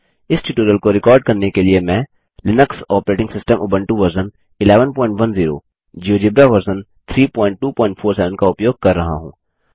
इस ट्यूटोरियल को रिकॉर्ड करने के लिए मैं Linux operating system Ubuntu version 1110 GeoGebra version 3247 का उपयोग कर रहा हूँ